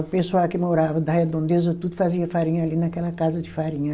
O pessoal que morava da Redondeza tudo fazia farinha ali naquela casa de farinha.